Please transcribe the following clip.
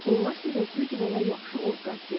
Onlar sizə güc və ya yaxşı ovqat vermir.